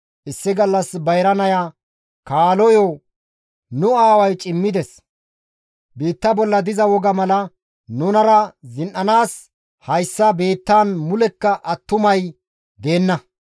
Issi gallas bayra naya kaaloyo, «Nu aaway cimmides; biitta bolla diza woga mala nunara zin7anaas hayssa biittaan mulekka attumay deenna.